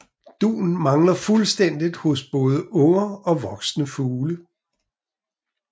Dun mangler fuldstændigt hos både unger og voksne fugle